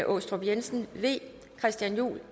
aastrup jensen christian juhl